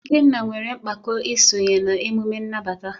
Ikenna nwere mpako isonye na emume nnabata.